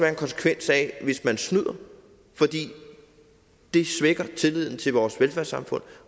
en konsekvens hvis man snyder fordi det svækker tilliden til vores velfærdssamfund